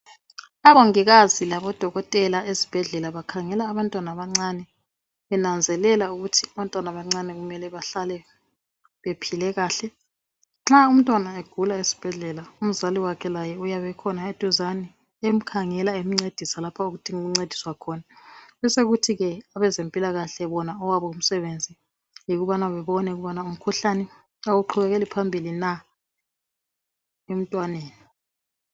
Abongikazi labodokotela esibhedlela bakhangela abantwana abancane, benanzelela ukuthi abantwana abancane kumele bahlale bephile kahle. Nxa umntwana egula esibhedlela, umzali wakhe laye uyabe ekhona eduzane, emkhangela emncedisa lapho okudinga ukuncediswa khona, besekuthi ke abezempilakahle bona owabo umsebenzi yikubana babone ukubana umkhuhlane awuqhubekeli phambili na emntwaneni.